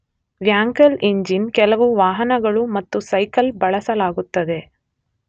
Wankel engine ಕೆಲವು ವಾಹನಗಳು ಮತ್ತು ಸೈಕಲ್ ಬಳಸಲಾಗುತ್ತದೆ.